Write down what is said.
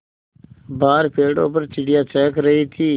बाहर पेड़ों पर चिड़ियाँ चहक रही थीं